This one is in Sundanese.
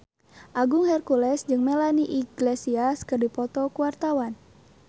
Agung Hercules jeung Melanie Iglesias keur dipoto ku wartawan